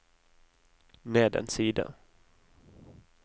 ned en side